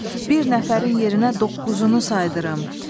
Bir nəfərin yerinə doqquzunu saydırırım.